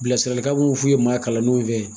Bilasiralikan mun f'u ye maa kalannenw fɛ